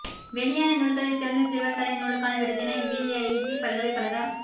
வெளியான நூல்களில் சிறந்த சிறுவர் கதை நூலுக்கான விருதினை விஐடி பல்கலைக்கழக